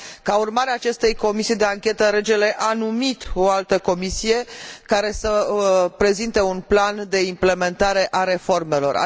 Ca urmare a acestei comisii de anchetă, regele a numit o altă comisie, care să prezinte un plan de implementare a reformelor.